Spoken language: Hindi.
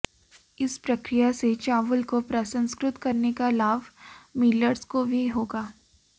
इस प्रक्रिया से चावल को प्रसंस्कृत करने का लाभ मिलर्स को भी होगा